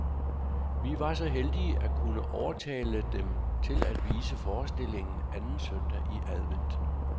Vi var så heldige at kunne overtale dem til at vise forestillingen anden søndag i advent.